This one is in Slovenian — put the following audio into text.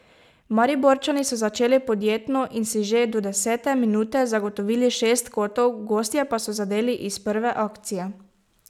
Mariborčani so začeli podjetno in si že do desete minute zagotovili šest kotov, gostje pa so zadeli iz prve akcije.